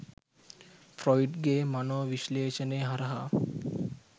Freud ගේ මනෝ විශ්ලේෂණය හරහා.